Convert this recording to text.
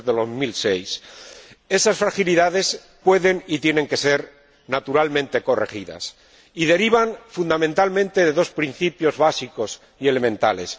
2006. Esas fragilidades pueden y tienen que ser, naturalmente, corregidas, y derivan fundamentalmente de dos principios básicos y elementales.